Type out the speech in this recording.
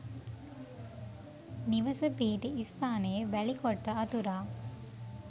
නිවස පිහිටි ස්ථානයේ වැලි කොට්ට අතුරා